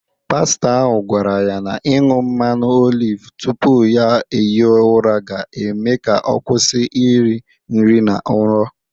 Pastọ ahụ gwara ya na ịñụ mmanụ oliv tupu ya hie ụra ga-eme ka ọ kwụsị iri nri na nrọ.